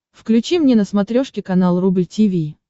включи мне на смотрешке канал рубль ти ви